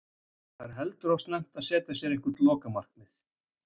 Það er heldur of snemmt að setja sér eitthvað lokamarkið.